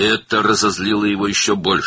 Bu, onu daha da qəzəbləndirdi.